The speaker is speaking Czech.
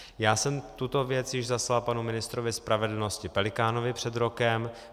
Já jsem tuto věc již zaslal panu ministrovi spravedlnosti Pelikánovi před rokem.